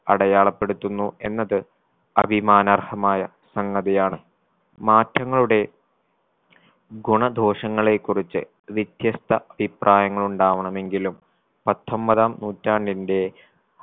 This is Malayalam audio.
അടയാളപ്പെടുത്തുന്നു എന്നത് അഭിമാനാർഹമായ സംഗതിയാണ് മാറ്റങ്ങളുടെ ഗുണദോഷങ്ങളെ കുറിച്ച് വ്യത്യസ്ത അഭിപ്രായങ്ങളുണ്ടാവണമെങ്കിലും പത്തൊമ്പതാം നൂറ്റാണ്ടിന്റെ